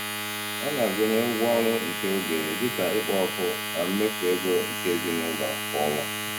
Ọ na-agụnye ụgwọ ọrụ nke oge, dị ka ikpo ọkụ, na mmefu ego nke ezinụụlọ kwa ọnwa.